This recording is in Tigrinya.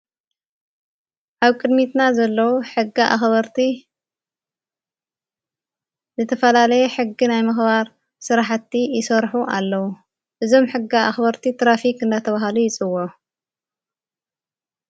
ሃብ ቅድሚትና ዘለዉ ሕጋ ኣኽበርቲ ዘተፈላለየ ሕጊ ናይ ምኽባር ሠራሕቲ ይሠርኁ ኣለዉ እዞም ሕጋ ኣኽበርቲ ጥራፊኽ እናተብሃሉ ይፅዎዑ።